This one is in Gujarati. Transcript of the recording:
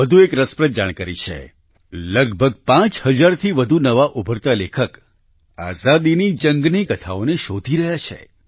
વધુ એક રસપ્રદ જાણકારી છે લગભગ 5000થી વધુ નવા ઉભરતા લેખક આઝાદીની જંગની કથાઓને શોધી રહ્યા છે